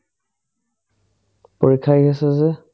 পৰীক্ষা আহি আছে যে